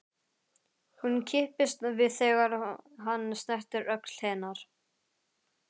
Hún kippist við þegar hann snertir öxl hennar.